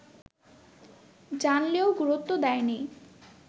জানলেও গুরুত্ব দেয়নি